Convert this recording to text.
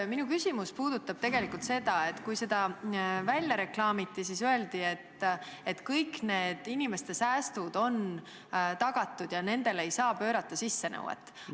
Minu küsimus puudutab tegelikult seda, et kui see võimalus välja reklaamiti, siis öeldi, et kõik need inimeste säästud on tagatud ja nendele ei saa sissenõuet pöörata.